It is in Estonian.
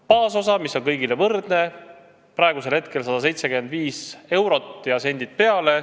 Baasosa, mis on kõigil võrdne, on praegu 175 eurot ja sendid peale.